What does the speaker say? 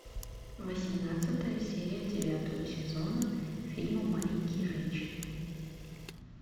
восемнадцатая серия девятого сезона фильма маленькие женщины